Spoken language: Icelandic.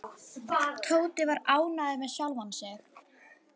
Tóti var ánægður með sjálfan sig.